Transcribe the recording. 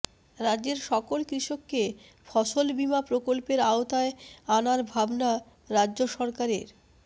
রাজ্যের সকল কৃষককে ফসল বীমা প্রকল্পের আওতায় আনার ভাবনা রাজ্য সরকারের